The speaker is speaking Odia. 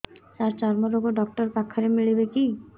ସାର ଚର୍ମରୋଗ ଡକ୍ଟର ପାଖରେ ମିଳିବେ କି